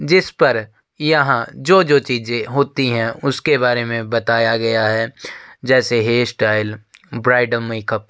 जिसपर यहाँ जो-जो चीजे होती है उसके बारे में बताया गया है। जैसे हेयर स्टाइल ब्राइडल मेकअप ।